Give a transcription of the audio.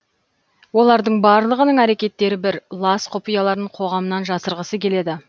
олардың барлығының әрекеттері бір лас құпияларын қоғамнан жасырғысы келеді